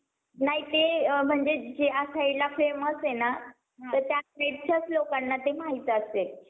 तिथेचं झाड मरून जात आहे. तो बी मोठा होताचं नाहीये, तो तिथेचं मारून जात आहे. तर काही, बाहेरचं नाही येते. काही उगवतचं नाही आहे. तर काही शेतामध्ये, जे हिरवी रंगाची algae,